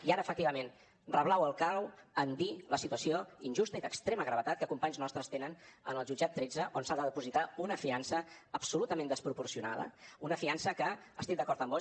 i ara efectivament rebleu el clau en dir la situació injusta i d’extrema gravetat que companys nostres tenen en el jutjat tretze on s’ha de depositar una fiança absolutament desproporcionada una fiança que estic d’acord amb vós